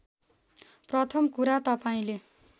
प्रथम कुरा तपाईँले